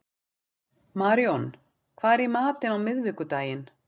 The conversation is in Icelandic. Maríon, hvað er í matinn á miðvikudaginn?